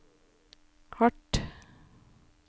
hardt